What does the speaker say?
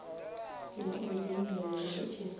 ya u dzhenelela hu tshe